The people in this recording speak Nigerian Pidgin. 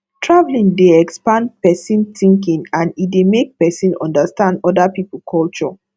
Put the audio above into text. traveling dey expand person thinking and e dey make person understand oda pipo culture